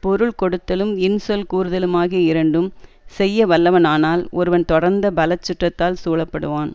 பொருள் கொடுத்தலும் இன்சொல் கூறுதலுமாகிய இரண்டும் செய்யவல்லவனானால் ஒருவன் தொடர்ந்த பல சுற்றத்தால் சூழப்படுவான்